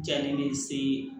Jalen de se